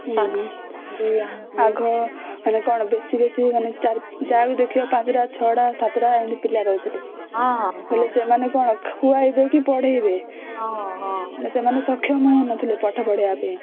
ହମ୍ମ ହମ୍ମ ଆଗ ମାନେ କଣ ବେଶୀ ବେଶୀ ମାନେ ୪ ଯାହାକୁ ଦେଖିବା ତାକୁ ୫ ଟା ୬ ଟା ୭ ଟା ଏମିତି ପିଲା ରହୁଥିଲେ ବୋଲେ ସେମାନେ ଖୁଆଇ ଦେଇକି ପଢ଼େଇବେ ସେମାନେ ସକ୍ଷମ ହଉନଥିଲେ ପାଠ ପଢେଇବା ପାଇଁ